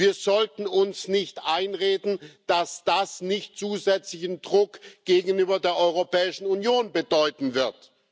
Wir sollten uns nicht einreden, dass das nicht zusätzlichen Druck gegenüber der Europäischen Union bedeuten wird.